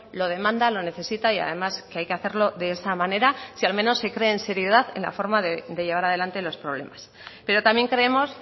lo demanda lo necesita y además que hay que hacerlo de esa manera si al menos se cree en seriedad en la forma de llevar adelante los problemas pero también creemos